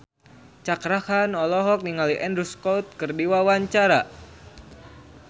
Cakra Khan olohok ningali Andrew Scott keur diwawancara